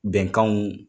Bɛnkanw